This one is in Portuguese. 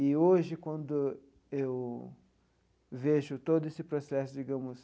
E, hoje, quando eu vejo todo esse processo, digamos...